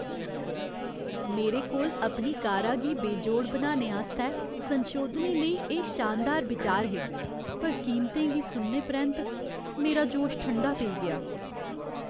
मेरे कोल अपनी कारा गी बेजोड़ बनाने आस्तै संशोधनें लेई एह् शानदार बिचार हे, पर कीमतें गी सुनने परैंत्त, मेरा जोश ठंडा पेई गेआ...